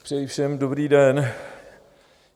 Přeji všem dobrý den.